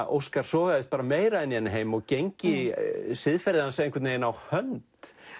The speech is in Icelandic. Óskar sogaðist meira inn í þennan heim og gengi siðferði hans einhvern veginn á hönd